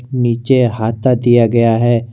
नीचे हता दिया गया है।